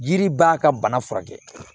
Yiri b'a ka bana furakɛ